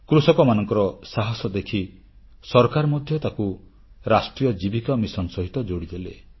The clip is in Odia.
କୃଷକମାନଙ୍କର ସାହାସ ଦେଖି ସରକାର ମଧ୍ୟ ତାକୁ ରାଷ୍ଟ୍ରୀୟ ଜୀବିକା ମିଶନ ସହିତ ଯୋଡ଼ିଦେଲେ